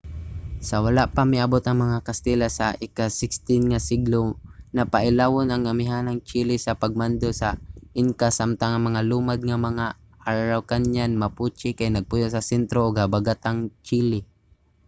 sa wala pa miabot ang mga katsila sa ika-16 nga siglo napailawon ang amihanang chile sa pagmando sa inca samtang ang mga lumad nga mga araucanian mapuche kay nagpuyo sa sentro ug habagatang chile